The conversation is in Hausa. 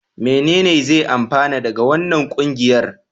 Menene zan amfana daga wannan ƙungiyar?